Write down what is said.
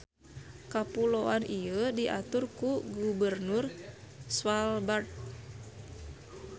Kapuloan ieu diatur ku Gubernur Svalbard.